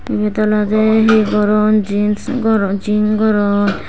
eyot olodey hi goron jiens goron jing goron.